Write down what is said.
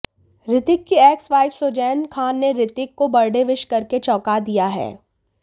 रितिक की एक्सवाइफ सुजैन खान ने रितिक को बर्थडे विश करके चौंका दिया है